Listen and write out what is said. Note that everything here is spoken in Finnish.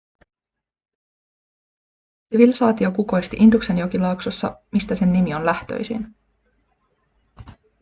sivilisaatio kukoisti induksen jokilaaksossa mistä sen nimi on lähtöisin